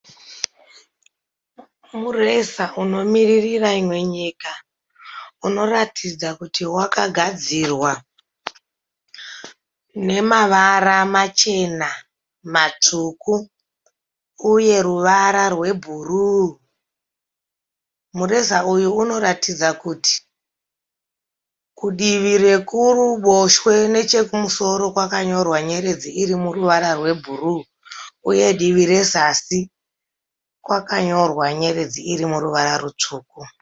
Mureza unomiririra imwe nyika unoratidza kuti wakagadzirwa nemavara machena matsvuku uye ruvara rwebhuruu, mureza uyu unoratidza kuti kudivi rekuruboshwe nechekumusoro kwakanyorwa nyeredzi iri muruva rwebhuruu uye divi rezasi kwakanyorwa nyeredzi iri muruva rutsvuku.